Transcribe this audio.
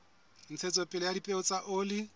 ntshetsopele ya dipeo tsa oli